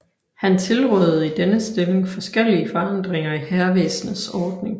Han tilrådede i denne stilling forskellige forandringer i hærvæsenets ordning